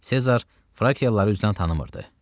Sezar Frakiyalıları üzdən tanımırdı.